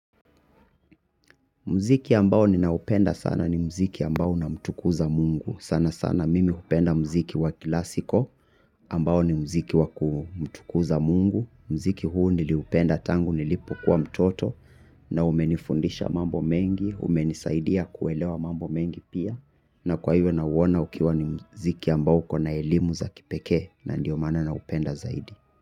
Mziki ambao ninaupenda sana ni mziki ambao unamtukuza mungu. Sana sana mimi upenda mziki wa klasiko ambao ni mziki wa kumtukuza mungu. Mziki huu niliupenda tangu nilipokuwa mtoto na umenifundisha mambo mengi, umenisaidia kuelewa mambo mengi pia. Na kwa hiyo na uona ukiwa ni mziki ambao ukona elimu za kipeke na ndiyo mana na upenda zaidi.